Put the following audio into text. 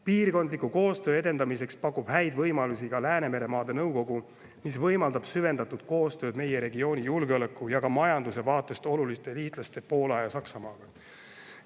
Piirkondliku koostöö edendamiseks pakub häid võimalusi ka Läänemeremaade Nõukogu, mis võimaldab süvendatud koostööd meie regiooni julgeoleku ja ka majanduse vaatest oluliste liitlastega, Poola ja Saksamaaga.